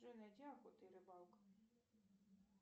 джой найди охота и рыбалка